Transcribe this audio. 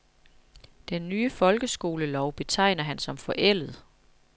Den nye folkeskolelov betegner han som forældet.